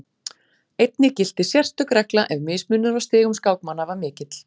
Einnig gilti sérstök regla ef mismunur á stigum skákmanna var mikill.